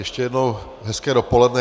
Ještě jednou hezké dopoledne.